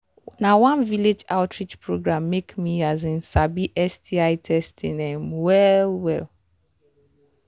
na one village outreach program make me um sabi sti testing um well well